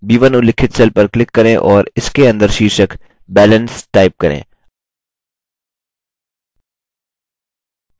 b1 उल्लिखित cell पर click करें और इसके अंदर शीर्षक balance type करें